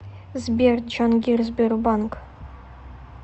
сбер джангир сбербанк